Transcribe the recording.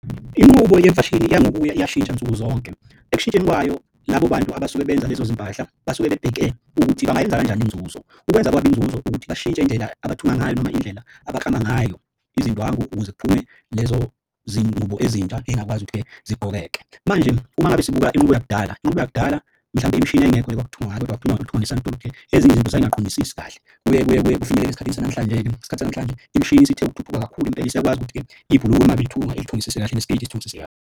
Inqubo yemfashini iya ngokuya iyashintsha nsuku zonke. Ekushintsheni kwayo labo bantu abasuke benza lezo zimpahla basuke bebheke ukuthi bangayenza kanjani inzuzo. Ukwenza kwabo inzuzo ukuthi bashintshe indlela abathunga ngayo noma indlela abaklama ngayo izindwangu ukuze kuphume lezo zingubo ezintsha ey'ngakwazi ukuthi-ke zigqokeke. Manje uma ngabe sibuka inqubo yakudala inqubo yakudala mhlawumbe imishini yayingekho le ekwakuthungwa ngayo kodwa kwakuthungwa ezinye izinto zayingaqondisisi kahle. Kuye kuye kuye kufinyelele esikhathini sanamhlanje-ke isikhathi sanamhlanje imishini isithe ukuthuthuka kakhulu impela isiyakwazi ukuthi-ke ibhuluke uma belithunga ilithungisise kahle nesketi isithungisise kahle.